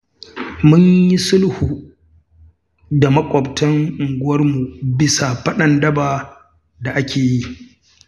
Mun yi sulhu da maƙwabtan unguwarmu bisa faɗan daba da ake yi.